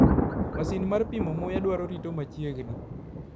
Masin mar pimo muya dwaro rito machiegni .